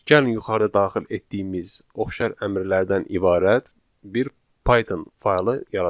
Gəlin yuxarıda daxil etdiyimiz oxşar əmrlərdən ibarət bir Python faylı yaradaq.